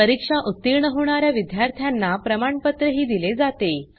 परीक्षा उतीर्ण होणा या विद्यार्थ्यांना प्रमाणपत्रही दिले जाते